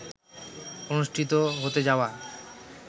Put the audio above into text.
অনুষ্ঠিত হতে যাওয়া